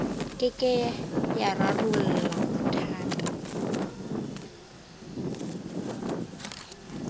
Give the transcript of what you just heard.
ke ke ya rarolla mathata